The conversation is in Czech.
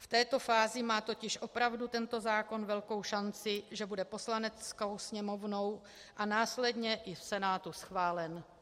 V této fázi má totiž opravdu tento zákon velkou šanci, že bude Poslaneckou sněmovnou a následně i v Senátu schválen.